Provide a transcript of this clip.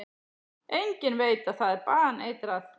Enginn veit að það er baneitrað.